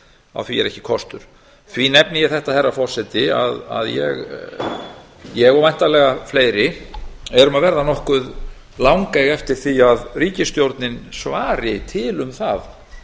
á því er ekki kostur því nefni ég þetta herra forseti að ég og væntanlega fleiri erum að verða nokkuð langeyg eftir því að ríkisstjórnin svari til um það